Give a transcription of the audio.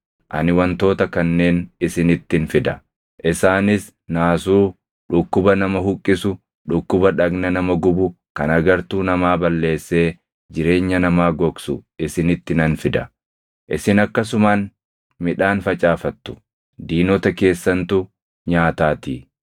ani wantoota kanneen isinittin fida: Isaanis naasuu, dhukkuba nama huqqisu, dhukkuba dhagna nama gubu kan agartuu namaa balleessee jireenya namaa gogsu isinitti nan fida. Isin akkasumaan midhaan facaafattu; diinota keessantu nyaataatii.